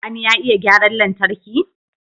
Sani ya iya gyaran lantarki?